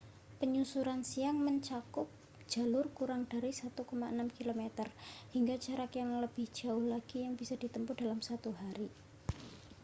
penyusuran siang mencakup jalur kurang dari 1,6 km hingga jarak yang lebih jauh lagi yang bisa ditempuh dalam satu hari